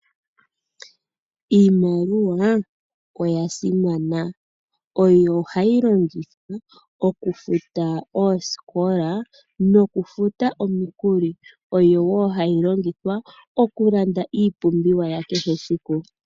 Iimaliwa oya simana, oyo hayi longithwa oku futwa oosikola noku futa omikuli, oyo woo hayi longithwa oku landa iipumbiwa yakehe esiku.